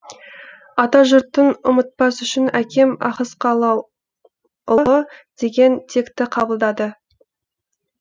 атажұртың ұмытпас үшін әкем ахыскалыұлы деген текті қабылдады